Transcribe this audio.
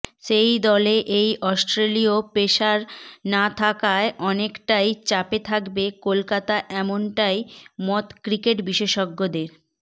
সেই দলে এই অস্ট্রেলিয় পেসার না থাকায় অনেকটাই চাপে থাকবে কলকাতা এমনটাই মত ক্রিকেট বিশেষজ্ঞদের